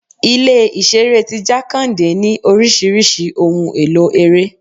Ilé ìṣeré ti Jakande ní oríṣiríṣi ohun èlò ere.